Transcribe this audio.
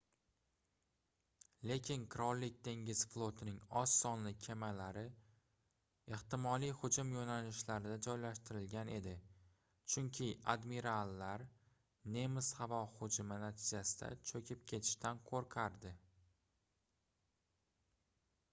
lekin qirollik dengiz flotining oz sonli kemalari ehtimoliy hujum yoʻnalishlarida joylashtirilgan edi chunki admirallar nemis havo hujumi natijasida choʻkib ketishdan qoʻrqardi